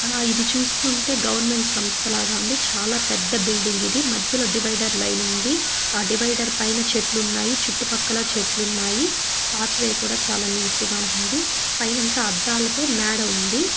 ఆ ఇది చూస్తూ ఉంటే గవర్నమెంట్ సంస్థ లాగా ఉంది చాలా పెద్ద బిల్డింగ్ ఇది మధ్యలో డివైడర్ లైన్ ఉంది డివైడ్ పైన చెట్లు ఉన్నాయి చుట్టుపక్కల చెట్లు ఉన్నాయి పాత్ వే కూడా చాలా నీట్ గా ఉంది పైన అంత అద్దాలతో మేడ ఉంది.